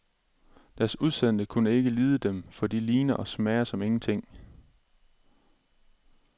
Deres udsendte kunne ikke lide dem, for de ligner og smager som ingenting.